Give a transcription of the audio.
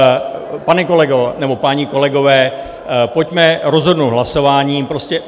Pane kolego, nebo páni kolegové, pojďme rozhodnout hlasováním.